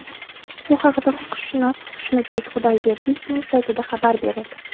Bu haqda huquqshunos Xushnudbek Xudoyberdiyevning saytida xabar berildi .